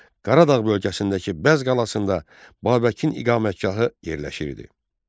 Qaradağ bölgəsindəki Bəz qalasında Babəkin iqamətgahı yerləşirdi.